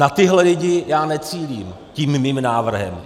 Na tyhle lidi já necílím tím svým návrhem.